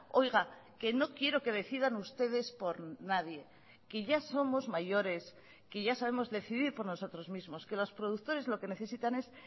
oiga que no quiero que decidan ustedes por nadie que ya somos mayores que ya sabemos decidir por nosotros mismos que los productores lo que necesitan es